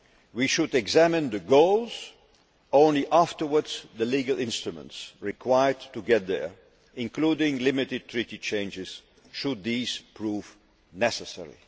We should examine the goals, and only afterwards the legal instruments required to get there, including limited Treaty changes should these prove necessary.